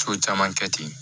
So caman kɛ ten